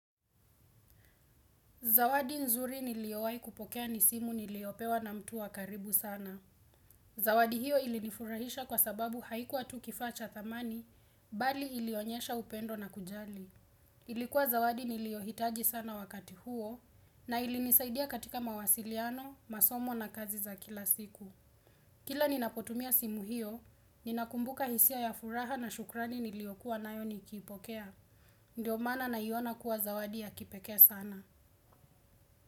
Zawadi nzuri niliowai kupokea ni simu niliopewa na mtu wakaribu sana. Zawadi hiyo ilinifurahisha kwa sababu haikuwa tu kifacha thamani, bali ilionyesha upendo na kujali. Ilikuwa zawadi nilioitaji sana wakati huo, na ilinisaidia katika mawasiliano, masomo na kazi za kila siku. Kila ninapotumia simu hiyo, ninakumbuka hisia ya furaha na shukrani niliokuwa nayo nikipokea. Ndiyo maana naiona kuwa zawadi ya kipekee sana.